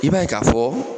I b'a ye k'a fɔ